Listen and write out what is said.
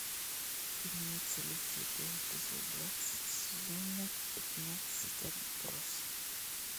имеется ли у тебя эпизод двадцать сезона пятнадцать отбросы